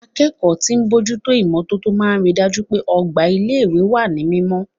Akẹ́kọ̀ọ́ tí ń bójú tó imọ́tótó máa ri dájú pé ọgbà ilé ìwé wà ní mímọ́.